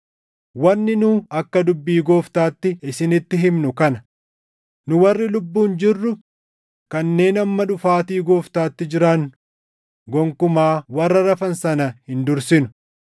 Wanni nu akka dubbii Gooftaatti isinitti himnu kana; nu warri lubbuun jirru kanneen hamma dhufaatii Gooftaatti jiraannu gonkumaa warra rafan sana hin dursinu.